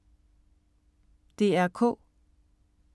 DR K